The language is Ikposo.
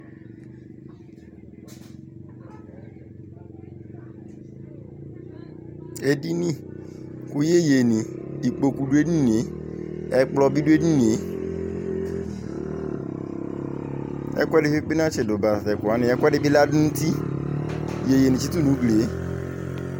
Edini , kʋ yeye ni Ikpoku dʋ edinieƐkplɔ bi dʋ edinieƐku ɛdikpekpe natsidu ba tatɛkuwani Ɛkʋ ɛdibi ladʋ nutiYeye ni tsitu nʋ uglie